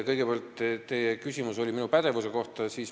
Kõigepealt oli teil küsimus minu pädevuse kohta.